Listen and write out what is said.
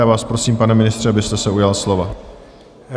Já vás prosím, pane ministře, abyste se ujal slova.